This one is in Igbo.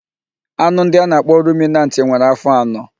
Anụ ndị a na-akpọ ruminantị nwere afọ anọ.